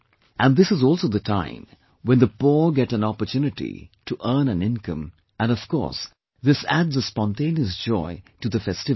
And this is also the time when the poor get an opportunity to earn an income and of course this adds a spontaneous joy to the festivities